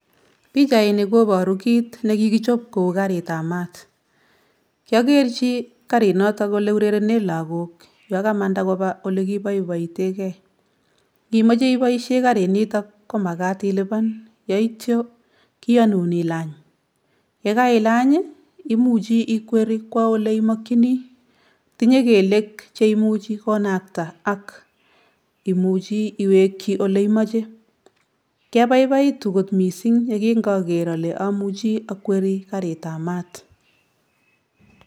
Pichaini koporu kit nekikichop kou karitab mat kyokerchi karinotok ole urerene lakok yakamanda kopaa olekiboiboiteke ngimoche iboishen karinitok komakat ilipan yeityo kiyonun ilany, yekailany imuch ikweri kwo ole imokyini tinye kelyek cheimuch konakta ak imuchi iwekyi oleimoche kyabaibaitu missing yekingoker ale amuchi akweri karitab mat.